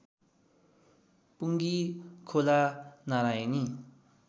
पुँगी खोला नारायणी